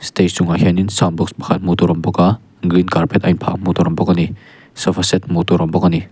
stage chungah hianin sound box pakhat hmuh tur a awm bawk a green carpet hmuh tur a awm bawk ani sofa set hmuh tur a awm bawk ani.